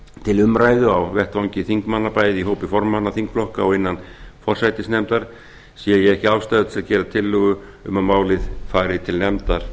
til umræðu á vettvangi þingmanna bæði í hópi formanna þingflokka og innan forsætisnefndar sé ég ekki ástæðu til